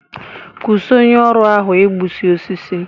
Kwụsi onye ọrụ ahụ igbusi osisi!